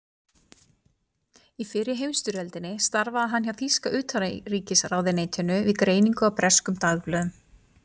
Í fyrri heimsstyrjöldinni starfaði hann hjá þýska utanríkisráðuneytinu við greiningu á breskum dagblöðum.